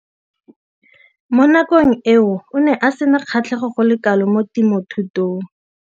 Mo nakong eo o ne a sena kgatlhego go le kalo mo temothuong.